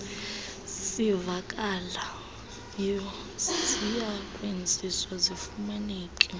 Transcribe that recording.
sivakalayo ziyakwenziwa zifumaneke